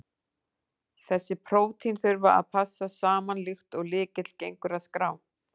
Þessi prótín þurfa að passa saman, líkt og lykill gengur að skrá.